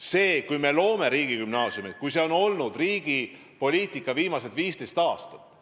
See, et me loome riigigümnaasiume, on olnud riigi poliitika viimased 15 aastat.